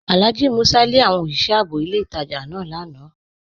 Alhaji Músà lé àwọn osìṣẹ̀ ààbò ilẹ̀ ìtajá náà lànà